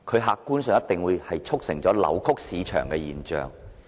客觀上而言，這顯然促成扭曲市場的現象。